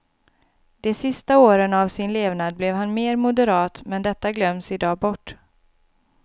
De sista åren av sin levnad blev han mer moderat men detta glöms idag bort.